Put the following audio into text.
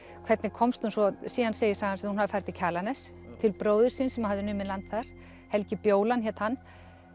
hvernig komst hún svo síðan segir sagan að hún hafi farið til Kjalarness til bróður síns sem hafði numið land þar Helgi bjólan hét hann